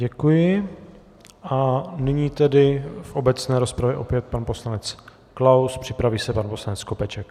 Děkuji a nyní tedy v obecné rozpravě opět pan poslanec Klaus, připraví se pan poslanec Skopeček.